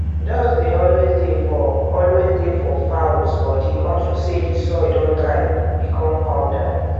dust dey always dey for always dey for fowls body unto say d soil don dry become powder